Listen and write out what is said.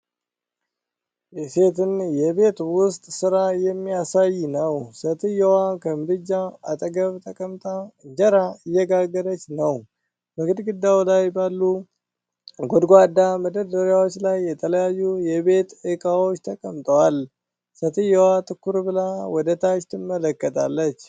የሴትን የቤት ውስጥ ሥራ የሚያሳይ ነው። ሴትዮዋ ከምድጃ አጠገብ ተቀምጣ እንጀራ እየጋገረች ነው፤ በግድግዳው ላይ ባሉ ጎድጓዳ መደርደሪያዎች ላይ የተለያዩ የቤት እቃዎች ተቀምጠዋል። ሴትየዋ ትኩር ብላ ወደ ታች ትመለከታለች።